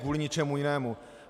Kvůli ničemu jinému.